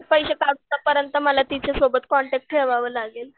पैसे पाठवू पर्यंत मला तिच्यासोबत कॉन्टॅक्ट ठेवावं लागेल.